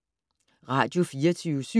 Radio24syv